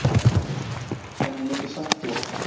En ég myndi samt gera það.